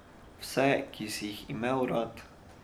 Vse, ki si jih imel rad.